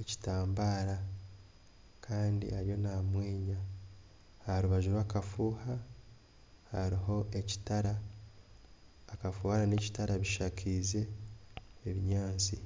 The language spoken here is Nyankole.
ekitambara Kandi ariyo namweenya aharubaju rwakafuuha hariho ekitala akafuuha nana ekitara bishakaize ebinyatsi